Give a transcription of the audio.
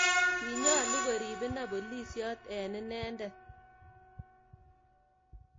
Kinyalu korib ine bolisyoot en inendet